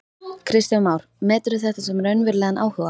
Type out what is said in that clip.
Kristján Már: Meturðu þetta sem raunverulegan áhuga?